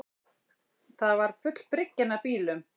Það var full bryggjan af bílum